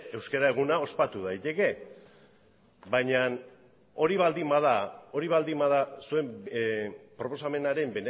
euskara eguna ospatu daiteke baina hori baldin bada hori baldin bada zuen proposamenaren